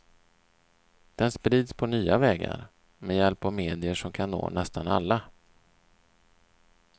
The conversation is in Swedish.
Den sprids på nya vägar, med hjälp av medier som kan nå nästan alla.